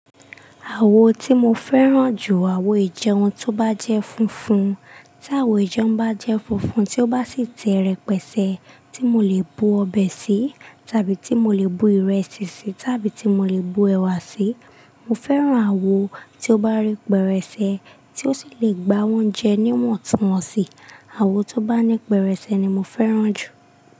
Àwo tí mo fẹ́ràn jù, àwo ìjẹun tó bá jẹ́ funfun. Tí àwo ìjẹun bá jẹ́ funfun, tí ó bá sì te repẹ̀sẹ̀ tí mo lè bu ọbẹ̀ sí, tàbí tí mo lè bu ìrẹsì sí, tàbí tí mo lè bu ẹ̀wà sí, mo fẹ́ràn àwo tí ó bá rí pẹrẹsẹ, tí ó sì le gbá oúnjẹ níwọ̀n tun wọn sí. Àwo tó bá ní pẹrẹsẹ ni mo fẹ́ràn jù.